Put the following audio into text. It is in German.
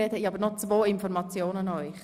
Ich habe noch zwei Informationen für Sie.